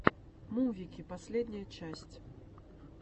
мувики последняя часть